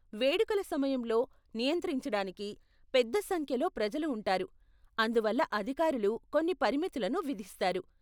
వేడుకల సమయంలో , నియంత్రించడానికి పెద్ద సంఖ్యలో ప్రజలు ఉంటారు , అందువల్ల అధికారులు కొన్ని పరిమితులను విధిస్తారు.